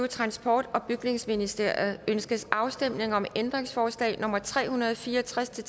transport og bygningsministeriet ønskes afstemning om ændringsforslag nummer tre hundrede og fire og tres til